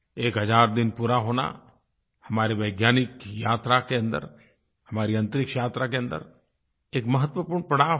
एक हज़ार दिन पूरा होना हमारी वैज्ञानिक यात्रा के अन्दर हमारी अंतरिक्ष यात्रा के अन्दर एक महत्वपूर्ण पड़ाव है